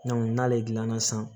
n'ale dilanna sisan